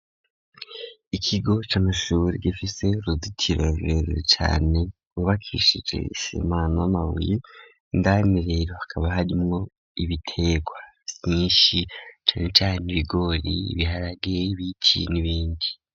Ikigo c'amashure gifise uruzitiro runini cane rwubakishije isima na mabuyi ndani rero hakaba harimo ibitegwa vyinshi cane cane ibigori ibiharage ibiki n'ibindi.